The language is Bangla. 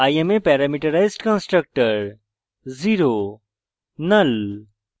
i am a parameterized constructor